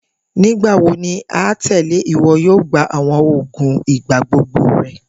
Nigbawo ni atẹle iwọ yoo gba awọn oogun igbagbogbo rẹ?.